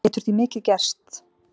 Það getur því mikið gerst.